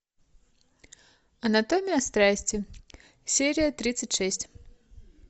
анатомия страсти серия тридцать шесть